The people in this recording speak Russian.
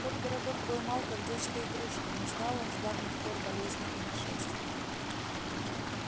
тот городок был мал как детская игрушка не знал он с давних пор болезней и нашествий